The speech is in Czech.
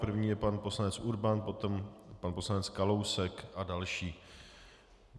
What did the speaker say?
První je pan poslanec Urban, potom pan poslanec Kalousek a další.